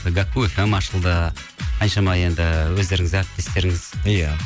гәкку фм ашылды қаншама енді өздеріңіз әріптестеріңіз иә